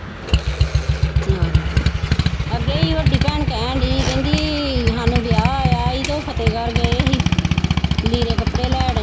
ਆਹੋ ਅੱਗੇ ਭੈਣ ਕਹਿਣਡੀ ਕਹਿੰਦੀ ਸਾਨੂੰ ਵਿਆਹ ਆਇਆ ਸੀ ਤੇ ਉਹ ਫਤਿਹਗੜ੍ਹ ਗਏ ਸੀ, ਲੀੜੇ ਕੱਪੜੇ ਲੈਣ।